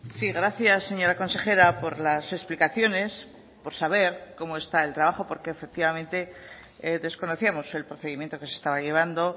sí gracias señora consejera por las explicaciones por saber cómo está el trabajo porque efectivamente desconocíamos el procedimiento que se estaba llevando